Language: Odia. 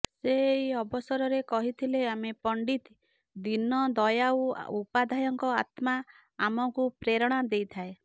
ସେ ଏହି ଅସବରରେ କହିଥିଲେ ଆମେ ପଣ୍ଡିତ ଦୀନଦୟାଉ ଉପାଧ୍ୟାୟଙ୍କ ଆତ୍ମା ଆମକୁ ପ୍ରେରଣା ଦେଇଥାଏ